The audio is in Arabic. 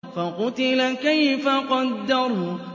فَقُتِلَ كَيْفَ قَدَّرَ